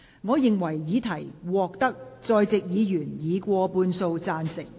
我認為議題獲得在席議員以過半數贊成。